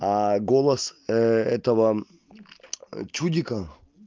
голос этого чудика